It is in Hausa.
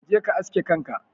Kaje ka aske kanka.